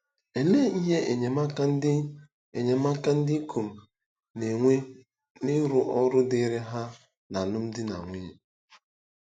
Olee ihe enyemaka ndị enyemaka ndị ikom na-enwe n'ịrụ ọrụ dịịrị ha n'alụmdi na nwunye?